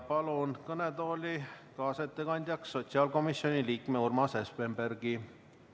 Palun kõnetooli kaasettekandjaks sotsiaalkomisjoni liikme Urmase Espenbergi.